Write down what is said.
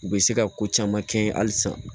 U bɛ se ka ko caman kɛ halisa